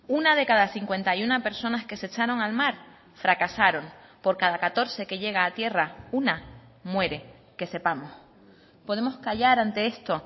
una de cada cincuenta y uno personas que se echaron al mar fracasaron por cada catorce que llega a tierra una muere que sepamos podemos callar ante esto